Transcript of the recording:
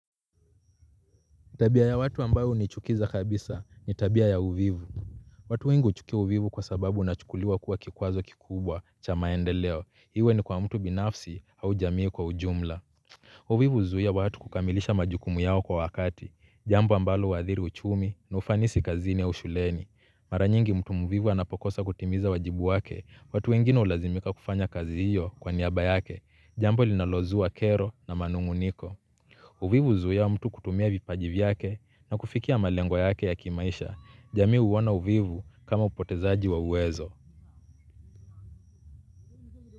Tabia ya watu ambayo hunichukiza kabisa ni tabia ya uvivu. Watu wengu huchukia uvivu kwa sababu unachukuliwa kuwa kikwazo kikubwa cha maendeleo iwe ni kwa mtu binafsi au jamii kwa ujumla. Uvivu huzuia watu kukamilisha majukumu yao kwa wakati jambo ambalo huadhiri uchumi na ufanisi kazini au shuleni mara nyingi mtu mvivu anapokosa kutimiza wajibu wake watu wengine hulazimika kufanya kazi hiyo kwa niaba yake jambo linalozua kero na manung'uniko. Uvivu huzuia mtu kutumia vipaji vyake na kufikia malengo yake ya kimaisha, jamii huona uvivu kama upotezaji wa uwezo.